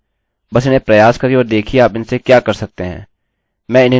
बस इन्हें प्रयास करिए और देखिये आप इनसे क्या कर सकते हैं